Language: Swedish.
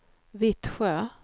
Vittsjö